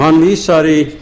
hann vísaði